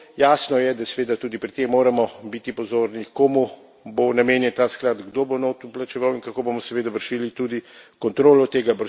Jasno je, da seveda pri tem moramo biti pozorni, komu bo namenjen ta sklad, kdo bo noter vplačeval in kako bomo seveda vršili tudi kontrolo tega.